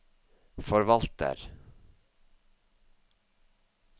forvalter